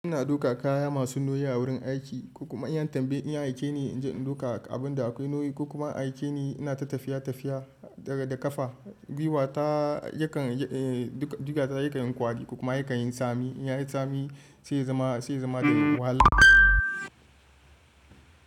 Ina duka kaya masu nauyi a wurin aiki, ko kuma an yi tambayi in aike ni in je in duka abun da akwai nauyi. Kuma aike ni ina ta tafiya tafiya daga da ƙafa. Gwiwa ta yakan, eh, duka jiga ta yakan yi kwari ko kuma yakan yi tsami. In ya yi tsami, sai ya zama, sai ya zama ɗaya wahala.